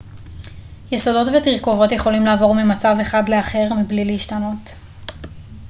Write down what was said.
יסודות ותרכובות יכולים לעבור ממצב אחד לאחר מבלי להשתנות